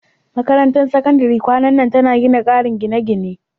Makarantar Sakandare kwanan nan tana gina ƙarin gine-gine.